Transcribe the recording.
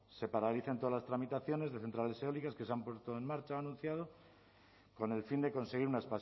se paralicen todas las tramitaciones de centrales eólicas que se han puesto en marcha ha anunciado con el fin de conseguir una